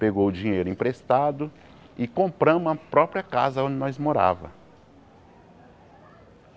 Pegou o dinheiro emprestado e compramos a própria casa onde nós morava